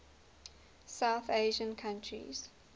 south asian countries